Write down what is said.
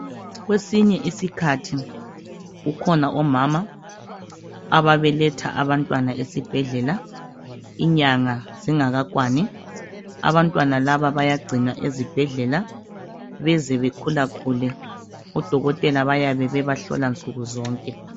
Kwesinye isikhathi kukhona omama ababeletha abantwana esibhedlela inyanga zingakakwani. Abantwana laba bayagcinwa ezibhedlela beze bekhulakhule. Odokotela bayabebebahlola nsukuzonke.